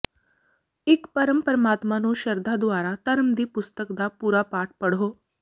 ਇੱਕ ਪਰਮ ਪਰਮਾਤਮਾ ਨੂੰ ਸ਼ਰਧਾ ਦੁਆਰਾ ਧਰਮ ਦੀ ਪੁਸਤਕ ਦਾ ਪੂਰਾ ਪਾਠ ਪੜ੍ਹੋ